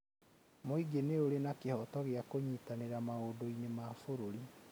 Mũingĩ nĩũrĩ na kĩhooto gĩa kũnyitanĩra maũndũ-inĩ ma bũrũri.